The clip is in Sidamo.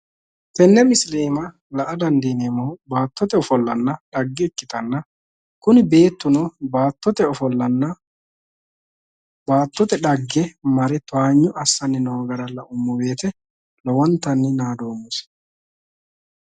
Tene misile iima la''a dandiineemmohu baattote ofollanna dhagge ikkittanna kuni beettuno baattote ofolla baattote dhagge mare towaanyo assanni noo gara lauummosi woyte lowontanni naadommosi".